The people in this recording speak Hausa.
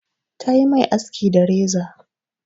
Ta yi mai aski da reza.